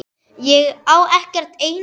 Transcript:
Ég á ekkert einasta orð.